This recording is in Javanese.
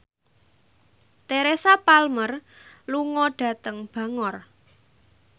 Teresa Palmer lunga dhateng Bangor